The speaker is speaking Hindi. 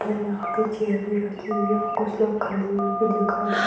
यहां पर चेयर भी रख हुई है कुछ लोग खड़े हुए भी दिखाई दे --